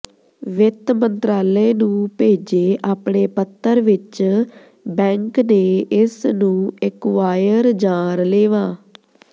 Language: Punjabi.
ਵਿੱਤ ਮੰਤਰਾਲੇ ਨੂੰ ਭੇਜੇ ਆਪਣੇ ਪੱਤਰ ਵਿਚ ਬੈਂਕ ਨੇ ਇਸਨੂੰ ਐਕੁਵਾਇਰ ਜਾਂ ਰਲੇਵਾਂ